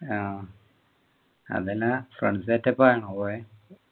ആഹ് അതല്ല friends set up ആണോ പോയെ